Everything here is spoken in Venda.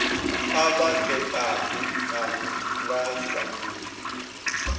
kha vha ṋekane nga sambulu